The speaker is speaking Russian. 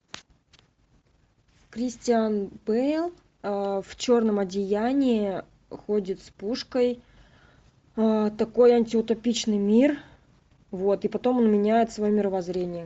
кристиан бэйл в черном одеянии ходит с пушкой такой антиутопичный мир вот и потом он меняет свое мировоззрение